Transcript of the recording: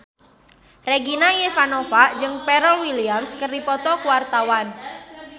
Regina Ivanova jeung Pharrell Williams keur dipoto ku wartawan